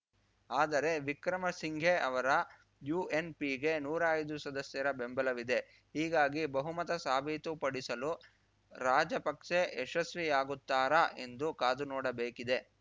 ಆದರೆ ವಿಕ್ರಮಸಿಂಘೆ ಅವರ ಯುಎನ್‌ಪಿಗೆ ನೂರಾ ಐದು ಸದಸ್ಯರ ಬೆಂಬಲವಿದೆ ಹೀಗಾಗಿ ಬಹುಮತ ಸಾಬೀತುಪಡಿಸಲು ರಾಜಪಕ್ಸೆ ಯಶಸ್ವಿಯಾಗುತ್ತಾರಾ ಎಂದು ಕಾದುನೋಡಬೇಕಿದೆ